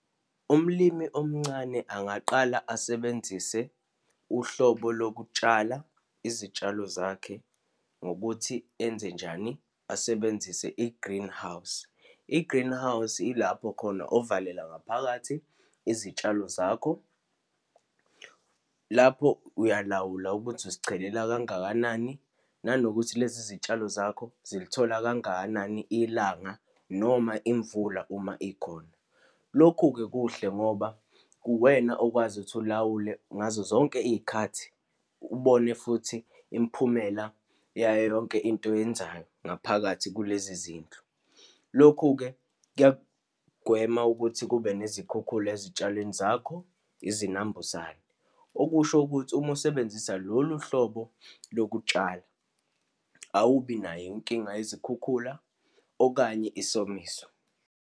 Umlimi omncane angaqala asebenzise uhlobo lokutshala izitshalo zakhe ngokuthi enzenjani, asebenzise i-greenhouse. I-greenhouse ilapho khona ovalela ngaphakathi izitshalo zakho, lapho uyalawula ukuthi uzichelela kangakanani, nanokuthi lezi zitshalo zakho zilithola kangakanani ilanga, noma imvula uma ikhona. Lokhu-ke kuhle ngoba uwena okwazi ukuthi ulawule, ngazo zonke iy'khathi, ubone futhi imphumela yayo yonke into oyenzayo ngaphakathi kulezi zindlu. Lokhu-ke kuyagwema ukuthi kube nezikhukhula ezitshalweni zakho, izinambuzane. Okusho ukuthi, uma usebenzisa lolu hlobo lokutshala, awubi nayo inkinga yezikhukhula, okanye isomiso.